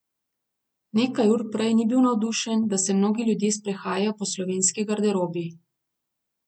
Nekaj ur prej ni bil navdušen, da se mnogi ljudje sprehajajo po slovenski garderobi.